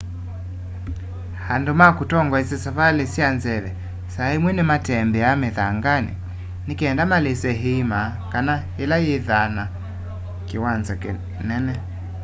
andũ ma kũtongeasya savalĩ sya nzeve saa ĩmwe nĩmatembea mĩthanganĩ nĩngenda malĩse ĩĩma kana ĩla yĩthaa na kĩwanza kĩnene